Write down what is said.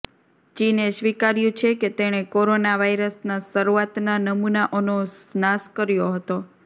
ચીને સ્વીકાર્યું છે કે તેણે કોરોના વાયરસના શરુઆતના નમૂનાઓનો નાશ કર્યો હતો